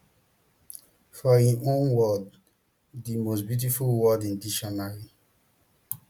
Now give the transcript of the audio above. for im own words di most beautiful word in dictionary